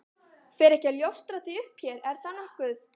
Fer ekki að ljóstra því upp hér, er það nokkuð?